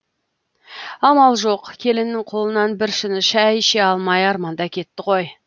амал жоқ келіннің қолынан бір шыны шәй іше алмай арманда кетті ғой